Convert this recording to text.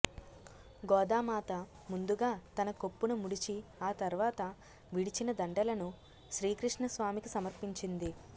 గోదామాత ముందుగా తన కొప్పున ముడిచి ఆ తర్వాత విడిచిన దండలను శ్రీకృష్ణస్వామికి సమర్పించింది